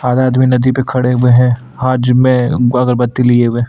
आधा आदमी नदी पर खड़े हुए हैं हाथ में अगरबत्ती लिए हुए।